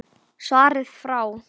Svarið frá